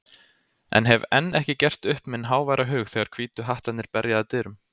en hef enn ekki gert upp minn háværa hug þegar Hvítu hattarnir berja að dyrum.